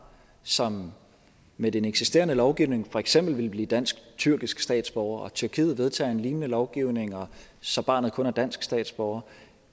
som med den eksisterende lovgivning for eksempel vil blive dansk tyrkisk statsborger og tyrkiet vedtager en lignende lovgivning så barnet kun er dansk statsborger